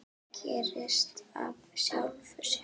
Það gerist af sjálfu sér.